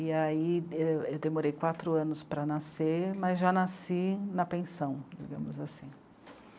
E aí eu eu demorei quatro anos para nascer, mas já nasci na pensão, digamos assim.